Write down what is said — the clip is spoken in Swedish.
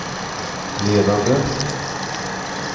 ledande